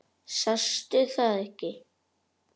Sástu það ekki?